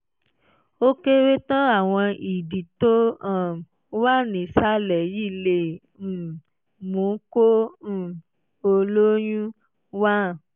ó kéré tán àwọn ìdí tó um wà nísàlẹ̀ yìí lè um mú kó um o lóyún: one